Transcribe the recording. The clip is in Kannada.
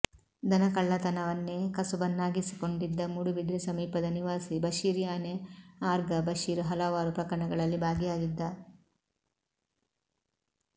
ದನಕಳ್ಳತನವನ್ನೆ ಕಸುಬನ್ನಾಗಿಸಿಕೊಂಡಿದ್ದ ಮೂಡುಬಿದ್ರೆ ಸಮೀಪದ ನಿವಾಸಿ ಬಶೀರ್ ಯಾನೆ ಆರ್ಗಾ ಬಶೀರ್ ಹಲವಾರು ಪ್ರಕರಣಗಳಲ್ಲಿ ಭಾಗಿಯಾಗಿದ್ದ